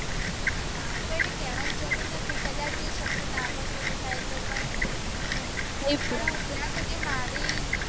હા કોઈને કેવાનું જરૂર નથી કદાચ સપનું ના પણ પૂરું થાય તો પણ